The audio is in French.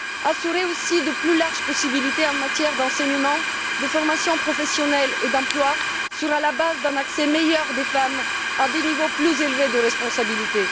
Assurer aussi de plus larges possibilités en matière d'enseignement, de formation professionnelle et d'emploi, sera la base d'un meilleur accès des femmes à des niveaux plus élevés de responsabilité.